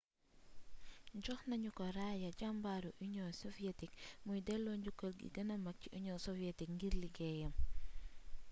jox nañu ko raaya jàmbaaru union soviétique muy dello njukkal gi gëna mag ci union soviétique ngir liggéeyam